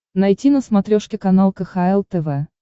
найти на смотрешке канал кхл тв